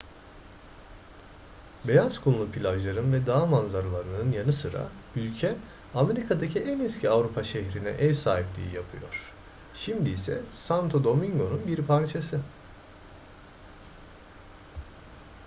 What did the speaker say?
beyaz kumlu plajların ve dağ manzaralarının yanı sıra ülke amerika'daki en eski avrupa şehrine ev sahipliği yapıyor şimdi ise santo domingo'nun bir parçası